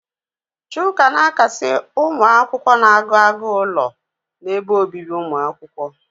Chuka na-akasi ụmụ akwụkwọ na-agụ agụụ ụlọ n'ebe obibi umuakwukwo.